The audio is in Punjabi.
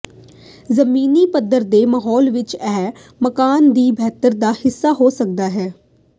ਜ਼ਮੀਨੀ ਪੱਧਰ ਦੇ ਮਾਹੌਲ ਵਿਚ ਇਹ ਮਕਾਨ ਦੀ ਬਣਤਰ ਦਾ ਹਿੱਸਾ ਹੋ ਸਕਦਾ ਹੈ